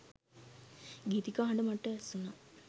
ගීතිකා හඬ මට ඇසුණා